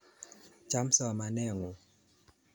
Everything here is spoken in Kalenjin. Cham somanet ng'ung'